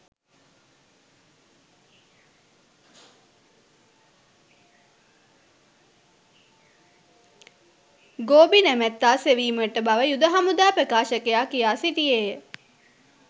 ගෝබි නැමැත්තා සෙවීමට බව යුද හමුදා ප්‍රකාශකයා කියා සිටියේය